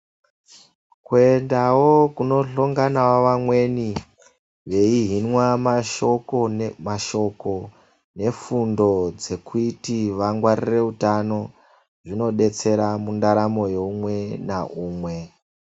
Kuendawo kunohlonganawo vamweni veihinwa mashoko, nefundo dzekuti vangwarire utano, zvinodetsera mundaramo yeumwe naumwe.